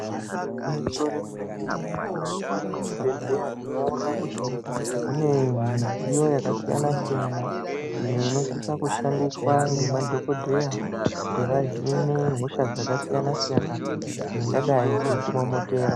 Igwinyiso remene mene mukati mezvibhedleya tinowona kuti mune midziyo yakasiyana siyana ,imwe inosisa kushandiswa ngemadhogodheya kutivahine hosha dzakasiyana siyana dzingadai dzichiti momotera .